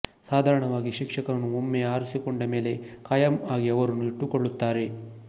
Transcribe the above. ಸಾಧಾರಣವಾಗಿ ಶಿಕ್ಷಕರನ್ನು ಒಮ್ಮೆ ಆರಿಸಿಕೊಂಡ ಮೇಲೆ ಖಾಯಂ ಆಗಿ ಅವರನ್ನು ಇಟ್ಟುಕೊಳ್ಳುತ್ತಾರೆ